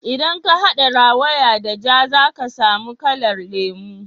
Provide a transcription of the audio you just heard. idan ka hada rawaya da ja za ka samu kalar lemu